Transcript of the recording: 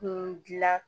Kun dilan